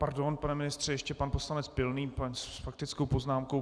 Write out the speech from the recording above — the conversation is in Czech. Pardon, pane ministře, ještě pan poslanec Pilný s faktickou poznámkou.